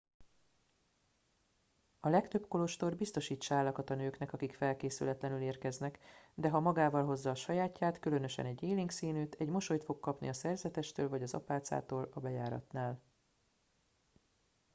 a legtöbb kolostor biztosít sálakat a nőknek akik felkészületlenül érkeznek de ha magával hozza a sajátját különösen egy élénk színűt egy mosolyt fog kapni a szerzetestől vagy az apácától a bejáratnál